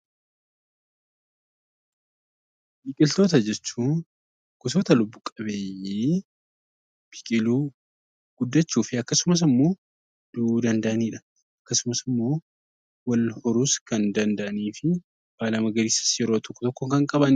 Biqiltoota jechuun gosoota lubbu-qabeeyyii biqiluu, guddachuu, wal horuu fi akkasumas, du'uu danda'anidha. Yeroo tokko tokkos baala magariisa kan qabanidha.